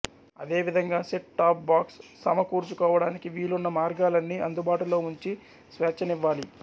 అదే విధంగా set top box సమకూర్చుకోవటానికి వీలున్న మార్గాలన్నీ అందుబాటులో ఉంచి స్వేచ్ఛనివ్వాలి